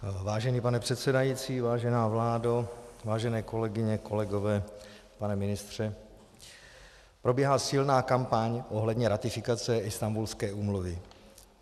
Vážený pane předsedající, vážená vládo, vážené kolegyně, kolegové, pane ministře, probíhá silná kampaň ohledně ratifikace Istanbulské úmluvy.